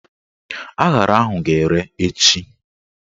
Aṅara ahụ ga-ere echi